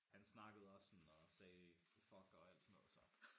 Han snakkede også sådan og sagde fuck og alt sådan noget så